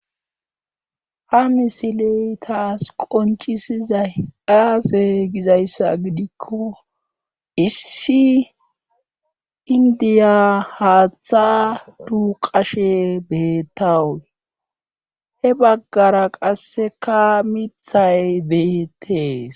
ha misiley taas qonchisizay aasey gizayssa gidikko issi indiya haaththa duqashe beettawu he baggara qasseka mithay beettees